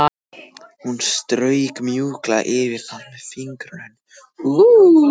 Hún strauk mjúklega yfir það með fingrunum.